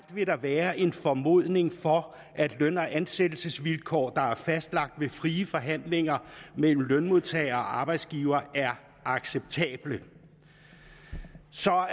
være en formodning for at løn og ansættelsesvilkår der er fastlagt ved frie forhandlinger mellem lønmodtager og arbejdsgiver er acceptable